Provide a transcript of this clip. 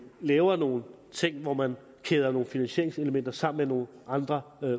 laver nogle ting hvor man kæder nogle finansieringselementer sammen med nogle andre